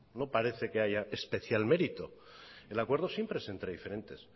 no parece que haya especial mérito el acuerdo siempre es entre diferentes